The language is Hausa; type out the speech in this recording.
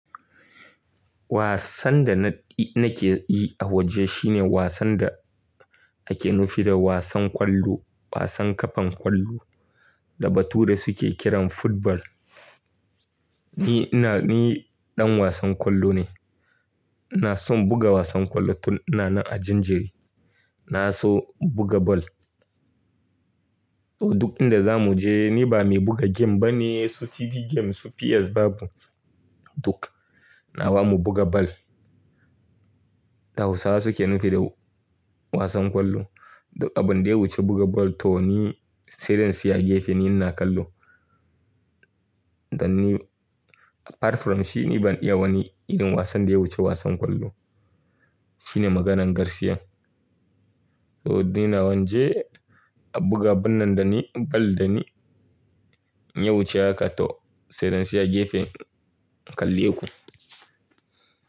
Wasan da na nake yi a waje shine wasan da ake nufi da wasan ƙwallo, wasan ƙafan ƙwallo da batura suke kiran football. Ni ina ni ɗan wasan ƙwallo ne. Na so buga wasan ƙwallo tun ina nan a jinjiri. Na so buga ball. To duk inda za mu je ni ba mai buga game ba ne, su TV game, su PS babu. Duk na ba mu buga ball. Da hausawa suke nufi da wasan ƙwallo. Duk abin da ya wuce buga ball to ni tsaya a gefe ni ina ƙallo. Dan ni apart from shi ni ban iya wani irin wasan da ya wuce wasan ƙwallo. Shine maganan gaskiya. To ni na wanje a buga abun nan dani ball da ni ya wuce haka to sai dai in tsaya gefe in kalle ku.